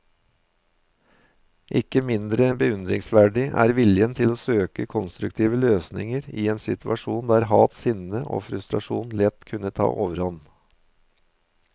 Ikke mindre beundringsverdig er viljen til å søke konstruktive løsninger i en situasjon der hat, sinne og frustrasjon lett kunne ta overhånd.